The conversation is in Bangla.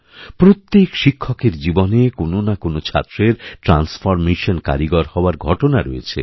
প্রত্যেক শিক্ষকের জীবনে কোনো না কোনো ছাত্রের ট্রান্সফরমেশন কারিগর হওয়ার ঘটনারয়েছে